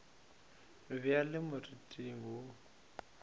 be a le moriting wo